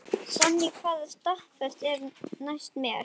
Sonný, hvaða stoppistöð er næst mér?